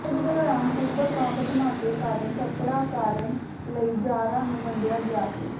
ਯੁੱਧ ਦੌਰਾਨ ਤੀਬਰ ਬੰਬ ਧਮਾਕੇ ਕਾਰਨ ਝੜਪਾਂ ਕਾਰਨ ਕਈ ਜਾਰਾਂ ਨੂੰ ਵੰਡਿਆ ਗਿਆ ਸੀ